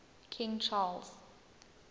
king charles